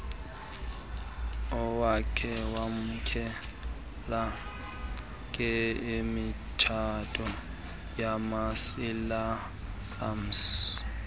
wokwamkelwa kwemitshato yamasilamsi